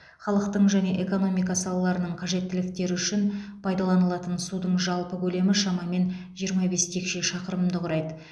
халықтың және экономика салаларының қажеттіліктері үшін пайдаланылатын судың жалпы көлемі шамамен жиырма бес текше шақырымды құрайды